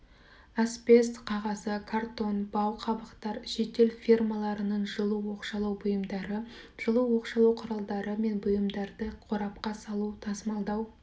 асбест қағазы картон бау қабықтар шетел фирмаларының жылу оқшаулау бұйымдары жылу оқшаулау құралдары мен бұйымдарды қорапқа салу тасымалдау